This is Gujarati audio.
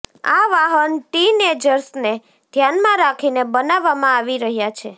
આ વાહન ટીનએજર્સને ધ્યાનમાં રાખીને બનાવવામાં આવી રહ્યાં છે